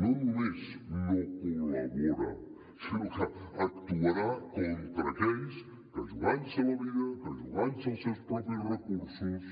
no només no col·labora sinó que actuarà contra aquells que jugant se la vida jugant se els seus propis recursos